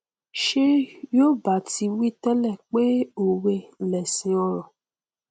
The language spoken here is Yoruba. ṣé yoòbá ti wí tẹlẹ pé òwe lẹṣin ọrọ